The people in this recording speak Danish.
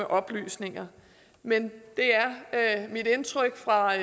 oplysninger men det er mit indtryk fra